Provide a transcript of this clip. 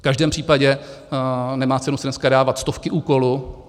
V každém případě nemá cenu si dneska dávat stovky úkolů.